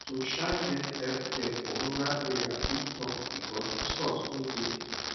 [um]to um get healthcare for rural area fit tough because resource no dey